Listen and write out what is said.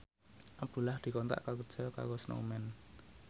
Abdullah dikontrak kerja karo Snowman